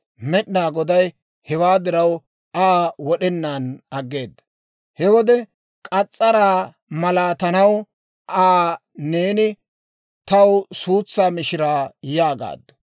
Med'inaa Goday hewaa diraw Aa wod'enaan aggeeda. He wode k'as's'araa malaatanaw Aa, «Neeni taw suutsaa mishiraa» yaagaaddu.